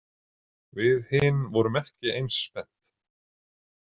Við hin vorum ekki eins spennt.